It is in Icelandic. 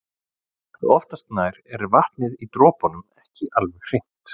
Oftast nær er vatnið í dropunum ekki alveg hreint.